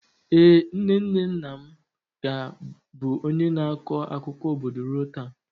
Ee, nne nne nna m ka bụ onye na-akọ akụkọ obodo ruo taa.